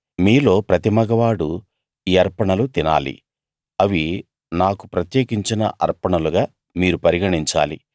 మీలో ప్రతి మగవాడు ఈ అర్పణలు తినాలి అవి నాకు ప్రత్యేకించిన అర్పణలుగా మీరు పరిగణించాలి